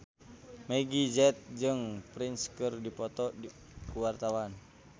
Meggie Z jeung Prince keur dipoto ku wartawan